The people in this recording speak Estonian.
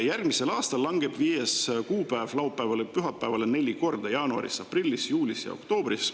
Järgmisel aastal langeb viies kuupäev laupäevale või pühapäevale neli korda: jaanuaris, aprillis, juulis ja oktoobris.